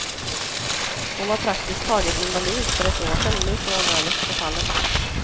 Hon var praktiskt taget invalid för ett år sedan, nu står hon överst på pallen.